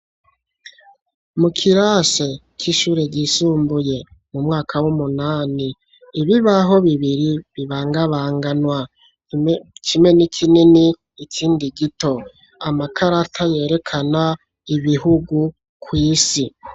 Mu kirasi c'ishure ryisumbuye mu mwaka w'umunani. Ibibaho bibiri bibangabanganwa kimwe ni kinini ikindi gito amakarata yerekana ibihugu kwisi.